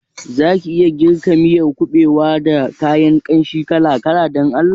Zaki iya girka miyar kuɓewa da kayan kanshi kala-kala Dan Allah?